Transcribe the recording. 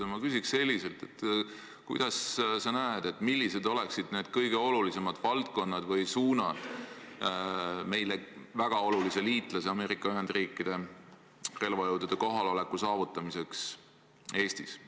Ma küsiks selliselt: millised oleksid sinu arvates kõige olulisemad tegevussuunad, et saavutada meile väga olulise liitlase, Ameerika Ühendriikide relvajõudude kohalolek Eestis?